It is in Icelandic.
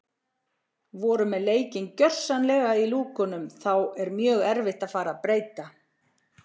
Við vorum með leikinn gjörsamlega í lúkunum þá er mjög erfitt að fara að breyta.